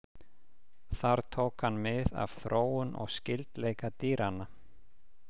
Þar tók hann mið af þróun og skyldleika dýranna.